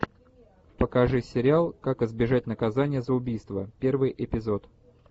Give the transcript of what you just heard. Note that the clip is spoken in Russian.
покажи сериал как избежать наказания за убийство первый эпизод